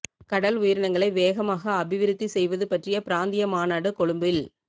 கடல் உயிரினங்களை வேகமாக அபிவிருத்தி செய்வது பற்றிய பிராந்திய மாநாடு கொழும்பில்